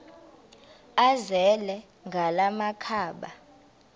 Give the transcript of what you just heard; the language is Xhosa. azele ngala makhaba